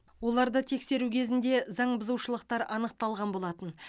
оларды тексеру кезінде заң бұзушылықтар анықталған болатын